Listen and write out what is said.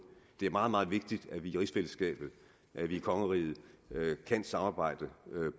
det er meget meget vigtigt at vi i rigsfællesskabet i kongeriget kan samarbejde